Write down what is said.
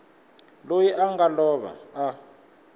loyi a nga lova a